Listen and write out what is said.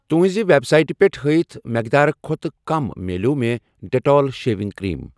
تُہنٛزِ ویب سایٹہٕ پٮ۪ٹھ ہٲیِتھ مٮ۪قدار کھۄتہٕ کم مِلٮ۪و مےٚ ڈٮ۪ٹال شیوِنٛگ کریٖم۔